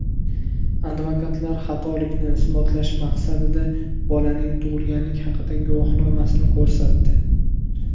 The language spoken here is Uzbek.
Advokatlar xatolikni isbotlash maqsadida bolaning tug‘ilganlik haqidagi guvohnomasini ko‘rsatdi.